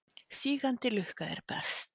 Sígandi lukka er best.